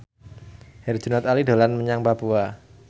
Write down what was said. Herjunot Ali dolan menyang Papua